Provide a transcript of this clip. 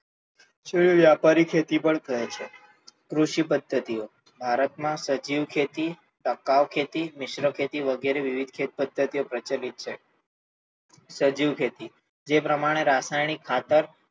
તેને વ્યાપારી ખેતી પણ કહે છે. કૃષિ પદ્ધતીઓ, ભારત માં સજીવ ખેતી, ટકાઉ ખેતી, મિશ્ર ખેતી વગેરે વિવિધ ખેત પદ્ધતિઓ પ્રચલિત છે. સજીવ ખેતી, જે પ્રમાણે રાસાયણિક ખાતર,